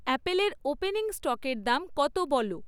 অ্যাপেলের ওপেনিং স্টকের দাম কত বলো?